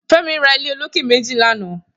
Femi rà ilé ólóké méji làná